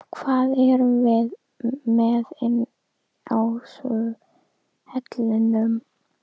Hvað erum við með inni á vellinum?